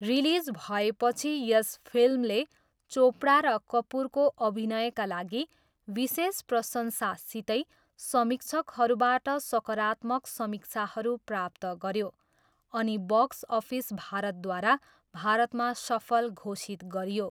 Release भएपछि यस फिल्मले चोपडा र कपुरको अभिनयका लागि विशेष प्रशंसासितै समीक्षकहरूबाट सकारात्मक समीक्षाहरू प्राप्त गऱ्यो अनि बक्स अफिस भारतद्वारा भारतमा सफल घोषित गरियो।